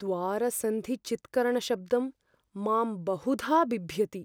द्वारसन्धिचीत्करणशब्दं मां बहुधा बिभ्यति।